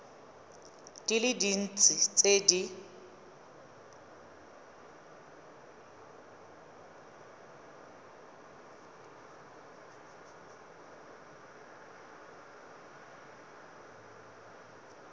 di le dintsi tse di